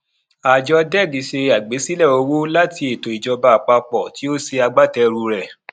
ààjọ deg ṣe àgbésílẹ owó láti ètò ìjọba àpapọ tí ó ṣe agbátẹrù rẹ